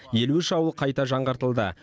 елу үш ауыл қайта жаңғыртылды